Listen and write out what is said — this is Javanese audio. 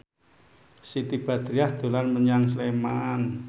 Siti Badriah dolan menyang Sleman